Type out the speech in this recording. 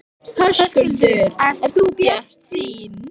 Höskuldur: Ert þú bjartsýn?